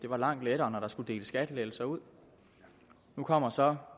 var langt lettere når der skulle deles skattelettelser ud nu kommer så